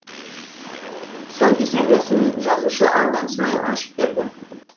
тұсаукесер рәсімін жазушы алдан смайыл ашып берді